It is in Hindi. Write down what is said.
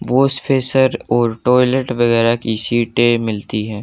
वॉश फ़ेशर और टॉयलेट वगैरा की सीटें मिलती हैं।